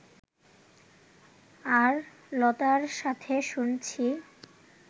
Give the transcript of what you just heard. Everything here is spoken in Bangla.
আর লতার সাথে শুনছি